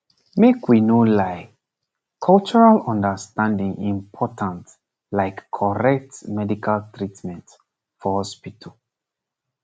make we no lie cultural understanding important like correct medical treatment for hospital